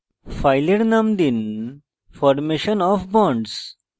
file name দিন formation of bonds